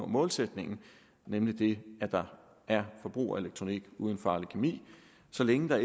målsætningen nemlig det at der er forbrugerelektronik uden farlig kemi så længe der